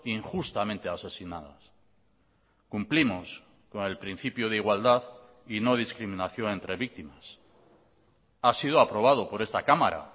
injustamente asesinadas cumplimos con el principio de igualdad y no discriminación entre víctimas ha sido aprobado por esta cámara